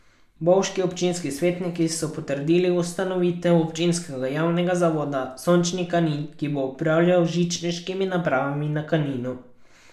Bovški občinski svetniki so potrdili ustanovitev občinskega javnega zavoda Sončni Kanin, ki bo upravljal z žičniškimi napravami na Kaninu.